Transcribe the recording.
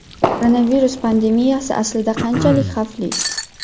Koronavirus pandemiyasi aslida qanchalik xavfli?